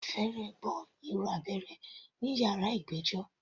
Mo fẹ́rẹ̀ gbọ́ ìró abẹ́rẹ́ ní yàrá ìgbẹ́jọ́.